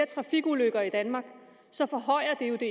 trafikulykker i danmark så forhøjer det jo det